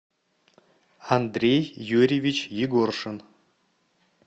андрей юрьевич егоршин